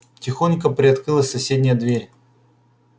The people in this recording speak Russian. тихонько приоткрылась соседняя дверь